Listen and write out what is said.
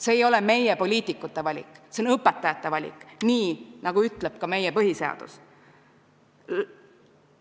See ei ole meie, poliitikute valik, see on õpetajate valik, nii nagu ütleb ka meie põhiseadus.